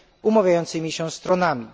umawiającymi się stronami,